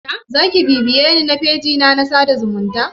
Zaki bibiyeni a fejina na sada zumunta?